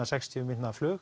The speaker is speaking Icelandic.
sextíu mínútna flug